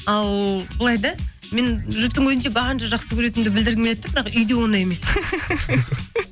ал былай да мен жұрттың көзінше барынша жақсы көретінімді білдіргім келеді де бірақ үйде ондай емеспін